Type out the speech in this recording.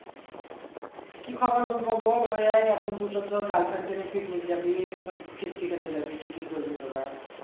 কি খবর বলবো বল ওই এই এখন দুটো তোর girlfriend কে নিয়ে picnic জাবি সব ফিষ্টি খেতে জাবি কি কি করবি তোরা